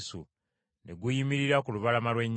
Ne guyimirira ku lubalama lw’ennyanja.